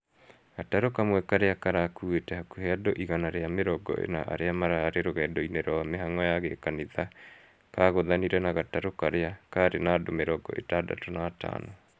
Gatarũ kamwe karĩa karakuĩte hakuhĩ andũ igana rĩa mĩrongo ĩna arĩa marĩ rũgendo-inĩ rwa mĩhang'o ya gĩkanitha kagũthanire na gatarũ karĩa karĩ na andu mĩrongo itandatũ na atano